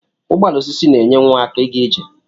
Ụgbọala osisi na enye nwa aka iga ije.